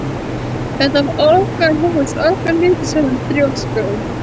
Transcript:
Þetta var okkar hús, okkar hlutir sagði hún þrjósku